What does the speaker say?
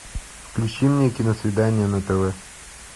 включи мне киносвидание на тв